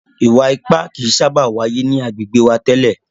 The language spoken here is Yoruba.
Ìwà ipá kìí sábà wáyé ni agbègbè wa tẹ́lẹ̀.